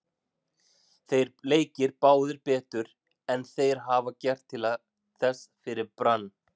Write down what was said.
Þeir leika báðir betur en þeir hafa gert til þessa fyrir Brann.